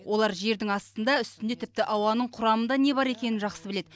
олар жердің астында үстінде тіпті ауаның құрамында не бар екенін жақсы біледі